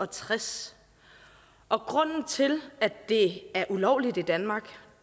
tres og grunden til at det er ulovligt i danmark